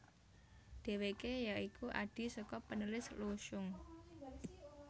Dheweke ya iku adhi saka penulis Lu Xun